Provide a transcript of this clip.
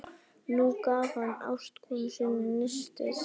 Nú gaf hann ástkonu sinni nistið.